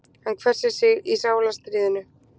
Hann hvessir sig í sálarstríðinu.